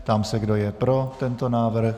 Ptám se, kdo je pro tento návrh.